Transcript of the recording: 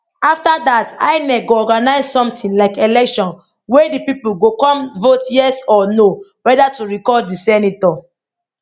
afta dat inec go organise something like election wia di pipo go come vote yes or no weda to recall di senator